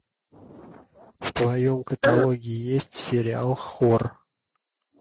в твоем каталоге есть сериал хор